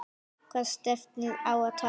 Hvaða stefnu á að taka?